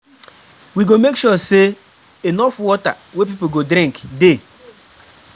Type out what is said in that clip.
We go make sure sey enough water wey pipo go drink dey.